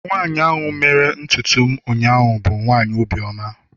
nwanyi mere ntutu m ụnyahụ bu nwanyi obi oma